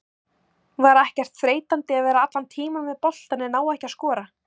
Var ekkert þreytandi að vera allan tímann með boltann en ná ekki að skora?